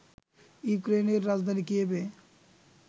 ইউক্রেইনের রাজধানী কিয়েভে